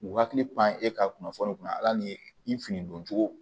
U hakili pan e ka kunnafoni kunna ala ni fini don cogo